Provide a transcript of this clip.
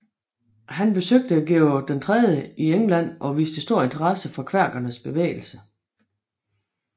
Han besøgte George III i England og viste stor interesse for kvækernes bevægelse